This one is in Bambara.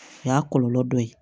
O y'a kɔlɔlɔ dɔ ye